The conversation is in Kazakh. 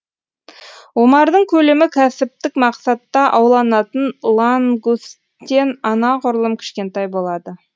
омардың көлемі кәсіптік мақсатта ауланатын лангусттен анағұрлым кішкентай болады